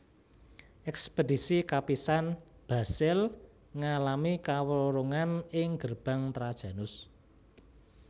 Ekspedisi kapisan Basil ngalami kawurungan ing Gerbang Trajanus